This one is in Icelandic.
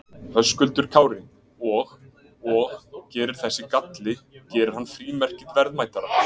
Höskuldur Kári: Og, og gerir þessi galli, gerir hann frímerkið verðmætara?